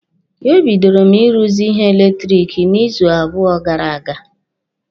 E bidoro m ị ruzi ihe eletiriki n'izu abụọ gara aga.